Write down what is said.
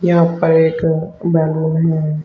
यहां पर एक बैलून है।